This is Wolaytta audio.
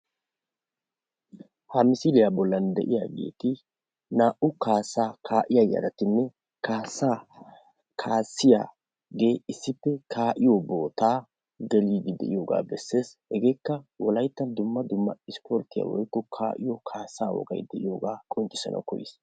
Ha misliyaa bollan de'iyaagetti naa'u kaassaa kaa'iyaa yaratinne kaassa kaassiyaagge isspe kaa'iyoo bootta geliddi de'iyogga besses. Hegekka wolaytta dumma dumma ispporttiyaa woyikko kaa'iyoo kaassa woggay de'iyoogga qonccissana koyiis.